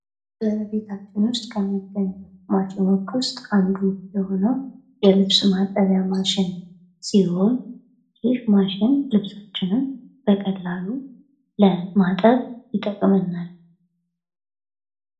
ቤታችን ውስጥ ከሚገኙ ማሸኖች ውስጥ አንዱ የሆነው የልብስ ማጠቢያ ማሽን ሲሆን ይህ ማሽን ልብሳችንን በቀላሉ ለማጠብ ይጠቅመናል።